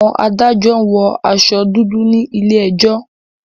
Àwọn adájọ́ wọ aṣọ dúdú ní ilé ẹjọ́.